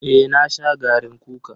Eh na sha garin kukan.